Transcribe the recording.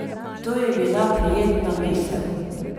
To je bila prijetna misel.